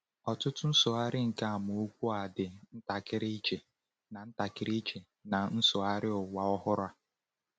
Ọtụtụ nsụgharị nke amaokwu a dị ntakịrị iche na ntakịrị iche na Nsụgharị Ụwa Ọhụrụ.